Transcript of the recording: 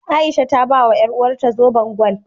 A'isha ta bawa ƴaruwarta zoben gwal.